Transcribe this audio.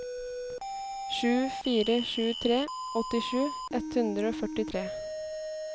sju fire sju tre åttisju ett hundre og førtitre